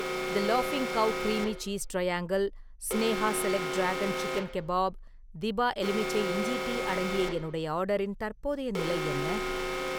தி லாஃபிங் cow creamy cheese triangle , Sneha select dragon chicken kebab, டிபா எலுமிச்சை இஞ்சி டீ அடங்கிய என்னுடைய ஆர்டரின் தற்போதைய நிலை என்ன?